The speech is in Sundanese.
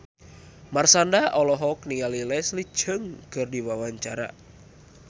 Marshanda olohok ningali Leslie Cheung keur diwawancara